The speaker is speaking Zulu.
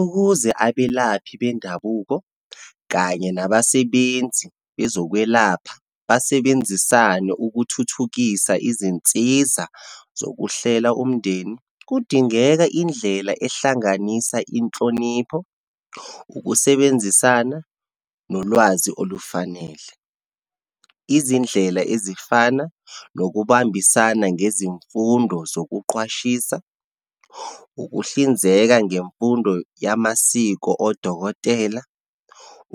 Ukuze abelaphi bendabuko kanye nabasebenzi bezokwelapha basebenzisane ukuthuthukisa izinsiza zokuhlela umndeni. Kudingeka indlela ehlanganisa inhlonipho, ukusebenzisana, nolwazi olufanele. Izindlela ezifana nokubambisana ngezimfundo zokuqwashisa, ukuhlinzeka ngemfundo yamasiko odokotela,